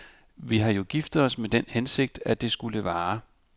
Vi har jo giftet os med den hensigt, at det skulle vare.